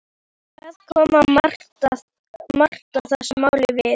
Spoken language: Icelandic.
Hvað kom Marta þessu máli við?